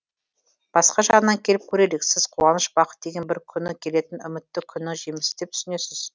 басқа жағынан келіп көрелік сіз қуаныш бақыт деген бір күні келетін үмітті күннің жемісі деп түсінесіз